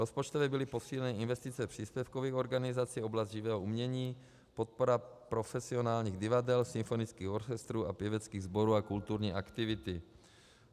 Rozpočtově byly posíleny investice příspěvkových organizací, oblast živého umění, podpora profesionálních divadel, symfonických orchestrů a pěveckých sborů a kulturní aktivity.